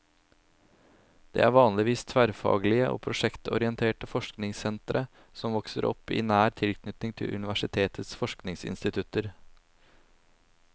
De er vanligvis tverrfaglige og prosjektorienterte forskningssentre, som vokser opp i nær tilknytning til universitetets forskningsinstitutter.